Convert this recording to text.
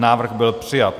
Návrh byl přijat.